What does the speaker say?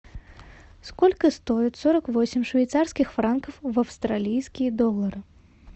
сколько стоит сорок восемь швейцарских франков в австралийские доллары